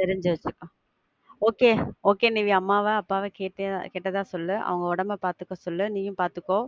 தெரிஞ்சி வச்சிக்கோ. Okay, okay Nivi, அம்மாவ அப்பாவ கேட்டேன், கேட்டதா சொல்லு, அவங்க ஒடம்ப பாத்துக்க சொல்லு, நீயும் பாத்துக்கோ.